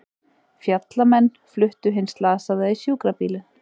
Fjallamenn fluttu hinn slasaða í sjúkrabílinn